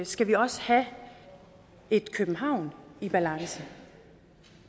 skal vi også have et københavn i balance